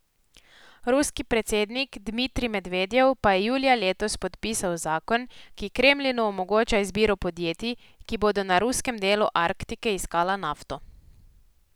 Ruski predsednik Dmitrij Medvedjev pa je julija letos podpisal zakon, ki Kremlinu omogoča izbiro podjetij, ki bodo na ruskem delu Arktike iskala nafto.